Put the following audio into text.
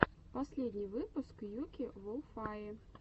последний выпуск юки волфае